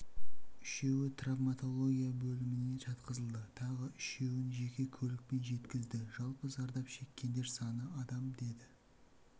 үшеуі травматология бөліміне жатқызылды тағы үшеуін жеке көлікпен жеткізді жалпы зардап шеккендер саны адам деді